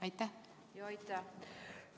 Aitäh!